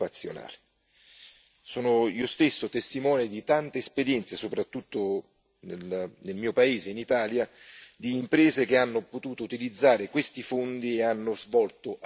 Sono io stesso testimone di tante esperienze, soprattutto nel mio paese, in Italia, di imprese che hanno potuto utilizzare questi fondi e hanno svolto attività straordinarie.